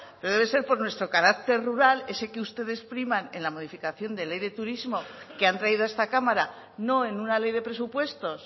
pero debe ser por nuestro carácter rural ese que ustedes priman en la modificación de ley de turismo que han traído a esta cámara no en una ley de presupuestos